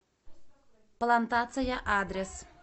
плантация адрес